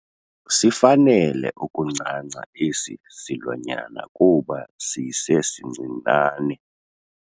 Sifanele ukuncanca esi silwanyana kuba sisesincinane.